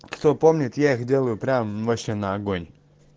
кто помнит я их делаю прям машина огонь